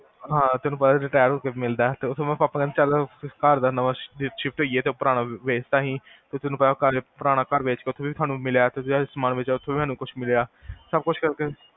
ਹਾਂ, ਤੁਹਾਨੂ ਪਤਾ retire ਹੋ ਕੇ ਮਿਲਦਾ ਪਾਪਾ ਕਹੰਦੇ ਚਲੋ ਘਰ ਦਾ ਨਵਾਂ ਸ਼ਿਫਟ ਹੋਇਏ ਤੇ ਪੁਰਾਣਾ ਵੇਚ ਤਾ ਅਸੀ ਤੇ ਪੁਰਾਣਾ ਘਰ ਓਥੇ ਵੀ ਸਾਨੂ ਮਿਲਿਆ ਤੇ ਸਮਾਨ ਵੇਚ ਕੇ ਵੀ ਮਿਲਿਆ ਸਬ ਕੁਛ ਕਰ ਕੇ